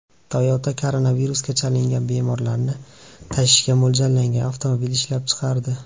Toyota koronavirusga chalingan bemorlarni tashishga mo‘ljallangan avtomobil ishlab chiqardi.